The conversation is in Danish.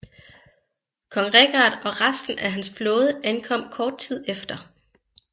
Kong Richard og resten af hans flåde ankom kort tid efter